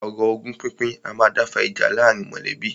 Ọ̀rọ̀ ogún pínpín a máa dá fa ìjà láàárín mọ̀lẹ́bí.